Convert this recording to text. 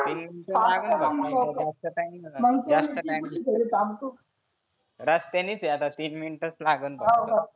तीन मिनीट लागल फक्त मला बस चा timing रस्त्यानीच आहे आता तीन मिनीटच लागनं फक्त.